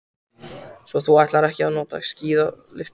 Svo þú ætlar ekki að nota skíðalyftuna.